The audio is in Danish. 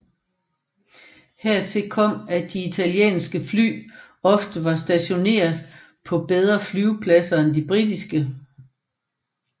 Hertil kom at de italienske fly ofte var stationeret på bedre flyvepladser end de britiske